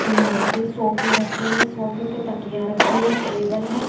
यहाँ पे सोफ़े रखे हुए है सोफ़े पर तकियां राखी है टेबल हैं।